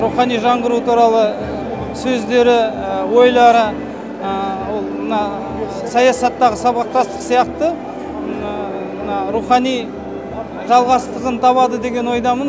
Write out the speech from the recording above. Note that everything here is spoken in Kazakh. рухани жаңғыру туралы сөздері ойлары ол мына саясаттағы сабақтастық сияқты мына рухани жалғастығын табады деген ойдамын